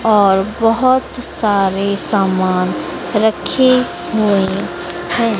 और बहुत सारे सामान रखे हुए हैं।